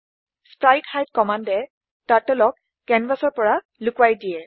sprite hide কম্মান্দে turtle ক কেনভাচৰ পৰা লোকোৱাই দিয়ে